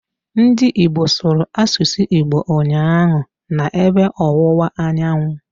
Ndị Igbo sụrụ asụsụ Igbo ụnyaahụ, na ebe ọwụwa anyanwụ